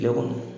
Tile kɔnɔ